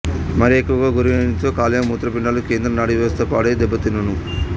మరి ఎక్కువగా గురైనచో కాలేయం మూత్రపిండాలు కేంద్ర నాడీవ్యవస్థ పాడై దెబ్బతినును